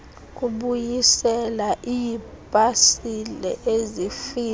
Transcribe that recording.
kubuyisela iipasile ezifika